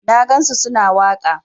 Na gansu su na waƙa.